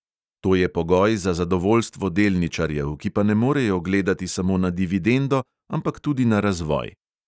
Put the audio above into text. To je pogoj za zadovoljstvo delničarjev, ki pa ne morejo gledati samo na dividendo, ampak tudi na razvoj.